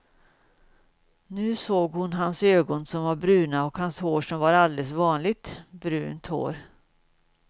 Nu såg hon hans ögon som var bruna och hans hår som var alldeles vanligt brunt hår.